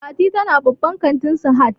Fati ta na babban kantin Sahad